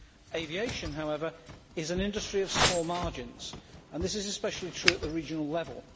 Aviation, however, is an industry with small margins and this is especially true at the regional level.